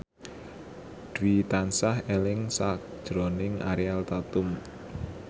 Dwi tansah eling sakjroning Ariel Tatum